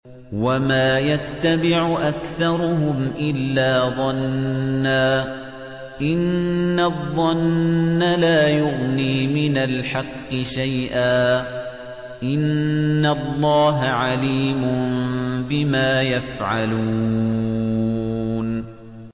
وَمَا يَتَّبِعُ أَكْثَرُهُمْ إِلَّا ظَنًّا ۚ إِنَّ الظَّنَّ لَا يُغْنِي مِنَ الْحَقِّ شَيْئًا ۚ إِنَّ اللَّهَ عَلِيمٌ بِمَا يَفْعَلُونَ